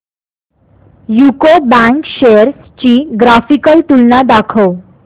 UCO bank shares ची graphical तुलना दाखव